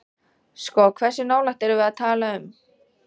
Sko hversu nálægt erum við að tala um?